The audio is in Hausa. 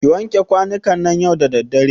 Ki wanke kwanukan nan yau da daddare.